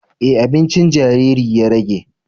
E, abincin jariri ya rage